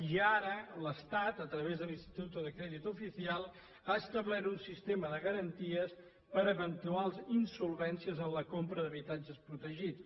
i ara l’estat a través de l’instituto de crédito oficial ha establert un sistema de garanties per eventuals insolvències en la compra d’habitatges protegits